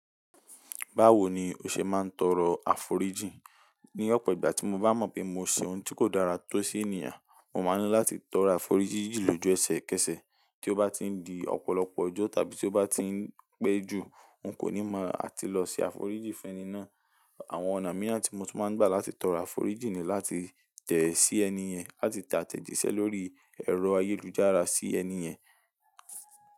Báwo ni o ṣe máa ń tọrọ àforíjìn? Ní ọ̀pọ̀ ìgbà tí mo bá mọ̀ pé mo ṣe ohun tí kò dára tó sí ènìyàn, mo máa ńi láti tọrọ àforíjìn lójú ẹsẹ̀ kẹsẹ̀. Tí ó bá ti ń di ọ̀pọ̀lọpọ̀ ojọ́ tàbí tí ó bá ti ń pẹ́ jù, n kò ní mọ̀, a ti lọ ṣe àforíjìn fún ẹni náà. Àwọn ọ̀nà míìran tí mo tún máa ń gbà láti tọrọ àforíjìn ni láti tẹ̀ẹ́ sí ẹni yẹn, láti te atẹ̀jíṣẹ́ lórí ẹ̀rọ ayélujára sí ẹni yẹn.